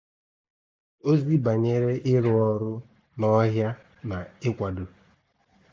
Ózì bànyèrè ị̀rụ̀ ọ́rụ̀ nọ̀hị̀à nà ị̀kwàdò.